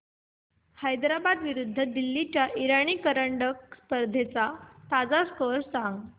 हैदराबाद विरुद्ध दिल्ली च्या इराणी करंडक स्पर्धेचा ताजा स्कोअर सांगा